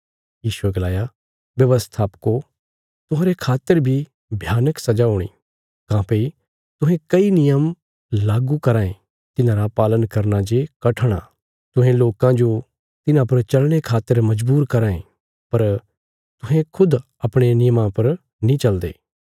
यीशुये गलाया व्यवस्थापको तुहांरे खातर बी भयानक सजा हूणी काँह्भई तुहें कई नियम लागू कराँ ये तिन्हांरा पालन करना जे कठण आ तुहें लोकां जो तिन्हां पर चलने खातर मजबूर कराँ ये पर तुहें खुद अपणे नियमां पर नीं चलदे